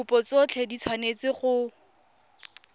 dikopo tsotlhe di tshwanetse go